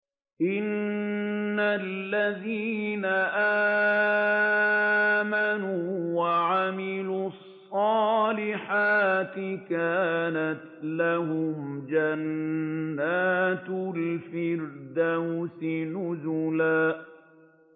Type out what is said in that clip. إِنَّ الَّذِينَ آمَنُوا وَعَمِلُوا الصَّالِحَاتِ كَانَتْ لَهُمْ جَنَّاتُ الْفِرْدَوْسِ نُزُلًا